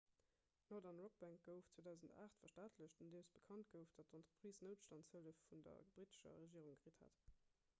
d'northern rock bank gouf 2008 verstaatlecht nodeem bekannt gouf datt d'entreprise noutstandshëllef vun der brittescher regierung kritt hat